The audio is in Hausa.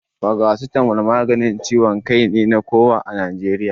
Paracetamol maganin ciwon kai ne na kowa a Najeriya.